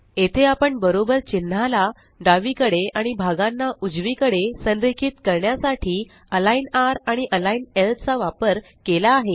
येथे आपण बरोबर चिन्हाला डावीकडे आणि भागांना उजवीकडे संरेखित करण्यासाठी अलिग्न rआणि अलिग्न ल चा वापर केला आहे